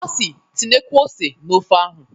O si "Tinyekwuo ose na ofe ahụ"